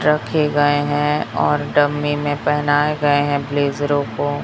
रखे गए हैं और डमी में पहनाए गए हैं ब्लेजरों को।